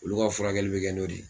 Olu ka furakɛli bɛ kɛ n'o de ye.